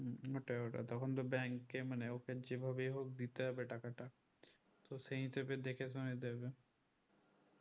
ওটাই ওটাই তখন তো bank এ মানে ওকে যেভাবেই হোক দিতে হবে টাকাটা তো সেই হিসেবে দেখে শুনে দিবে